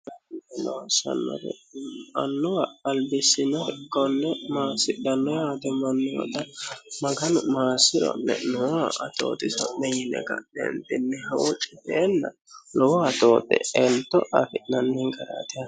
n sanoromannuwa albissino hikkonne maasidhanno aate mannuwata maganu maasiro'me'nooa atooxi so'me yine ganeembinnihoo citeenna lowo atooxe elto afi'nanni hingaraatih